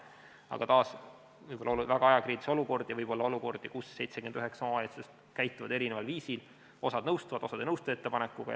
Aga taas, võib olla väga ajakriitilisi olukordi ja võib olla olukordi, kus 79 omavalitsust käituvad eri viisil, osa nõustub ja osa ei nõustu ettepanekuga.